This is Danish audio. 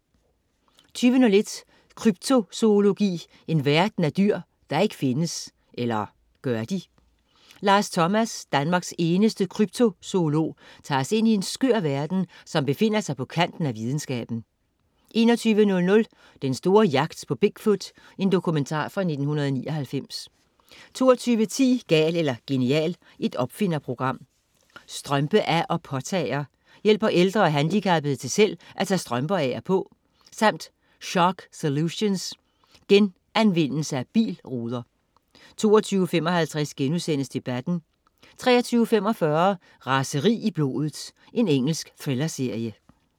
20.01 Kryptozoologi, en verden af dyr der ikke findes. Eller gør de? Lars Thomas, Danmarks eneste kryptozoolog, tager os ind i en skør verden, som befinder sig på kanten af videnskaben 21.00 Den store jagt på Big Foot. Dokumentar fra 1999 22.10 Gal eller genial. Opfinderprogram. Strømpe af- og påtager: Hjælper ældre og handicappede til selv at tage strømper af og på, samt Shark Solutions: Genanvendelse af bilruder 22.55 Debatten* 23.45 Raseri i blodet. Engelsk thrillerserie